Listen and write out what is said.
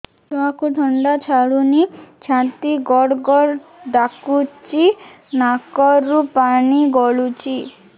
ଛୁଆକୁ ଥଣ୍ଡା ଛାଡୁନି ଛାତି ଗଡ୍ ଗଡ୍ ଡାକୁଚି ନାକରୁ ପାଣି ଗଳୁଚି